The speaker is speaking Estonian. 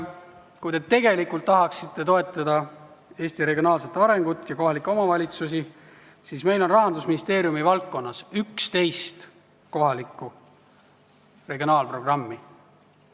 Kui te tegelikult tahaksite toetada Eesti regionaalset arengut ja kohalikke omavalitsusi, siis meil on Rahandusministeeriumi valdkonnas 11 regionaalprogrammi.